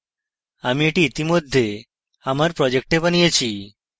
আমি এটি ইতিমধ্যে আমার project বানিয়েছি